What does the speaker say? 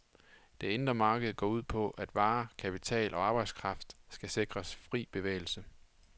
Det indre marked går ud på, at varer, kapital og arbejdskraft skal sikres fri bevægelse.